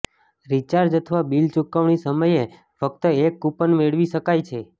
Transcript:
recharge અથવા bill ચુકવણી સમયે ફક્ત એક કૂપન મેળવી શકાય છે